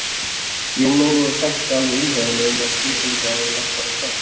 Jón Ólafur þekkti alveg umræðuna um að skipuleggja áður en lagt var af stað.